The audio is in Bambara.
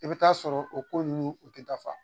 I bɛ t ta'a sɔrɔ o ko ninnu u tɛ dafaga